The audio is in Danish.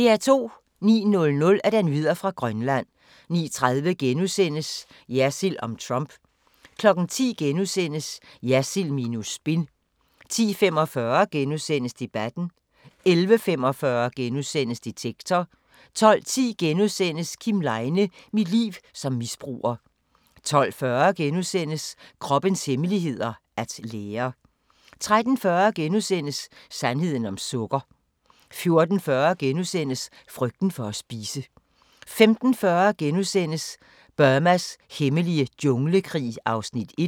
09:00: Nyheder fra Grønland 09:30: Jersild om Trump * 10:00: Jersild minus spin * 10:45: Debatten * 11:45: Detektor * 12:10: Kim Leine – mit liv som misbruger * 12:40: Kroppens hemmeligheder: At lære * 13:40: Sandheden om sukker * 14:40: Frygten for at spise * 15:40: Burmas hemmelige junglekrig (1:2)*